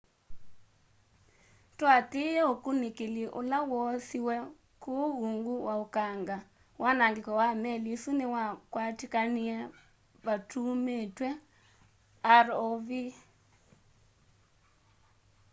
tũatĩĩe ũkũnĩkĩlĩ ũle woosĩwe kũũ ũũngũ wa ũkanga wanangĩko wa meli ĩsũ nĩwakwatĩkanĩe vatũũmĩĩtwe rov